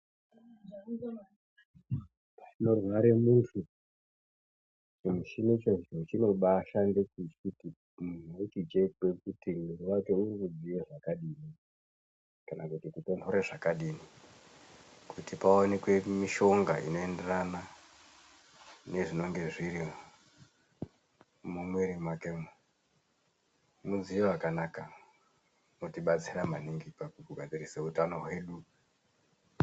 Panorware muntu chimuchini chonichi chinoshande kuti munhu uchikwe kuti mwiri wake urikudziye zvakadini kana kuti kutonhore zvakadini kuti paonekwe mishonga inoenderana nezvinenge zviri mumwiri mwakemo mudziyo wakanaka unotibatsira maningi pakugadzirise utano hwedu.